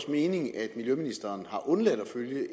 mening at miljøministeren har undladt at følge et